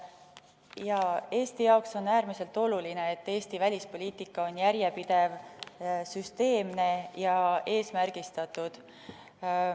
Jaa, Eesti jaoks on äärmiselt oluline, et Eesti välispoliitika on järjepidev, süsteemne ja eesmärgistatud.